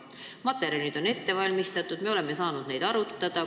Materjalid on ette valmistatud ja me oleme saanud neid arutada.